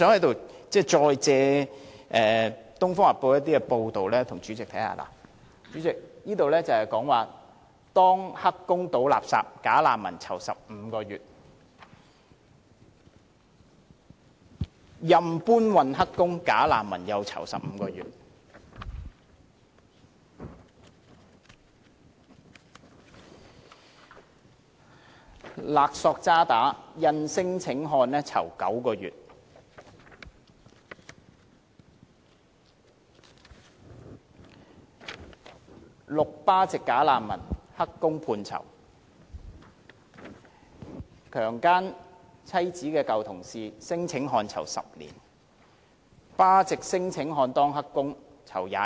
代理主席，這裏有多篇報道，標題分別是"當'黑工'倒垃圾'假難民'囚15個月"、"任搬運'黑工''假難民'囚15個月"、"勒索渣打印聲請漢囚9個月"、"6 巴籍'假難民''黑工'判囚"、"姦妻舊同事聲請漢囚10年"、"巴漢聲請者當'黑工'判囚逾22月"。